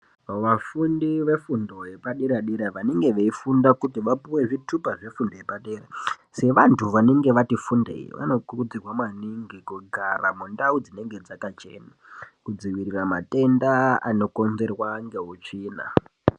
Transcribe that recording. Vafundi vefundo yepadera dera vanenge veifunda kuti vapuwe zvitupa zvefundo yepadera sevanhu vanenge vati fundei vanokurudzirwa maningi kugara mundau dzinenge dzakachena kudzivirira matenda anokonzerwa ngeutsvina.